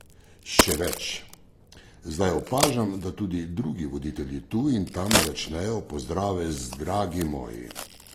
Še več, zdaj opažam, da tudi drugi voditelji tu in tam začnejo pozdrave z Dragi moji!